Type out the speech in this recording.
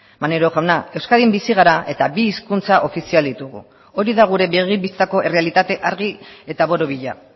maneiro jauna euskadin bizi gara eta bi hizkuntza ofizial ditugu hori da gure begi bistako errealitate argi eta borobila